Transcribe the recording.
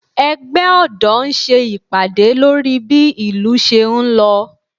Ẹgbẹ́ ọ̀dọ́ ń ṣe ìpàdé lórí bí ìlú ṣé ń lọ